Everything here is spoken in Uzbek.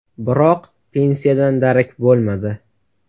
Biroq pensiyadan darak bo‘lmadi.